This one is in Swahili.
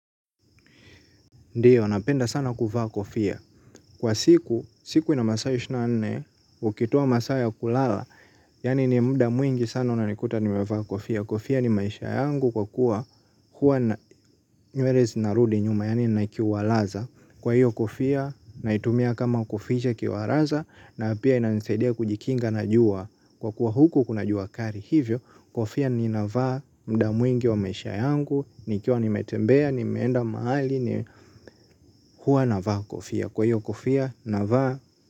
Ndiyo, napenda sana kuvaa kofia. Kwa siku, siku ina masaa ishirini na nne, ukitoa masaa ya kulala. Yani ni mda mwingi sana unanikuta nimevaa kofia. Kofia ni maisha yangu kwa kuwa huwa nywere zinarudi nyuma. Yaani nina kiwalaza. Kwa hiyo kofia, naitumia kama kuficha kiwaraza. Na pia inanisaidia kujikinga na jua. Kwa kuwa huku kuna jua kari hivyo. Kofia ninavaa mda mwingi wa maisha yangu. Nikiwa nimetembea, nimeenda mahali. Ni huwa navaa kofia. Kwa hiyo kofia navaa.